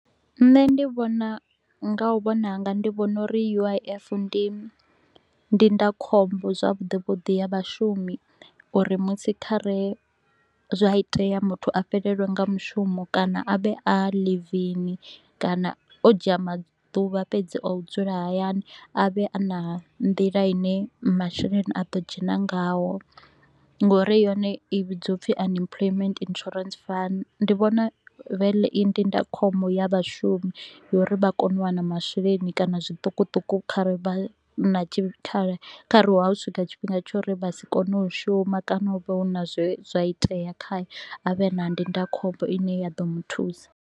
Nṋe ndi vhona nga u vhona hanga ndi vhona uri U_I_F ndi ndindakhombo zwavhuḓi vhuḓi ya vhashumi, uri musi kha re zwa itea muthu a fhelelwe nga mushumo kana a vhe a ḽivini kana o dzhia maḓuvha fhedzi a u dzula hayani. A vhe a na nḓila ine masheleni a ḓo dzhena ngaho nga uri yone i vhidzwa upfi Unemployment Insurance Fund, ndi vhona vele i ndindakhombo ya vhashumi ya uri vha kone u wana masheleni kana zwiṱukuṱuku kha re vha na tshikhala kh re ho swika tshifhinga tsha uri vha si kone u shuma kana hu vhe hu na zwe zwa itea khae a vhe na ndindakhombo ine ya ḓo mu thusa.